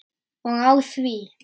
Og á því!